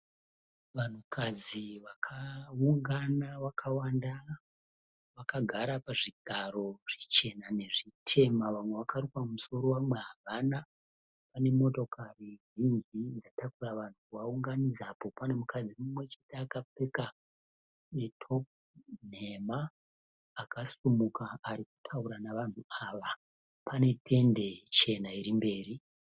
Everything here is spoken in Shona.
Vanhu kadzi vakawungana vakawanda, vakagara pazvigaro zvichena nezvitema. Vamwe vakaruka musoro vamwe avana. Panemotokare zhinji dzakatauka dzatakuara vanhu kuvawunganidza, apo panemukadzi "top" nemha akasimuka arikutauara nevanhu ava. Panetendi chena irimberi.